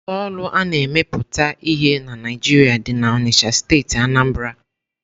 Ụlọ ọrụ a na-emepụta ihe na Naijiria dị na Onitsha steeti Anambra.